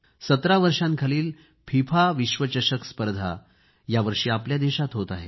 17 वर्षाखालील फिफा विश्व चषक स्पर्धा यावर्षी आपल्या देशात होत आहे